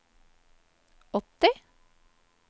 åtti